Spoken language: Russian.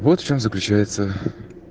вот в чём заключается